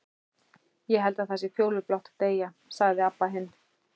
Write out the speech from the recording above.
Ég held það sé fjólublátt að deyja, sagði Abba hin.